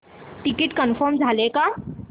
ticket confirm झाले का